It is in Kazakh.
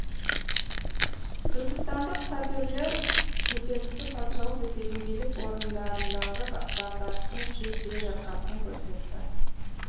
түркістандық саперлер көтерілісі патшалық ресейдің билік орындарындағы дағдарыстың күшейіп келе жатқандығын көрсетті